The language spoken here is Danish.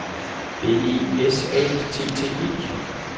B E S A T T E